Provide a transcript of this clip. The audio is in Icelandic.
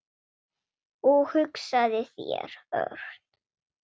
Og hugsaðu þér, Örn.